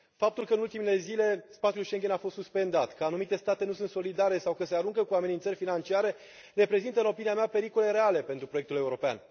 Faptul că în ultimele zile spațiul Schengen a fost suspendat, că anumite state nu sunt solidare sau că se aruncă cu amenințări financiare reprezintă, în opinia mea, pericole reale pentru proiectul european.